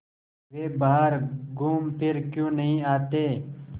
वे बाहर घूमफिर क्यों नहीं आते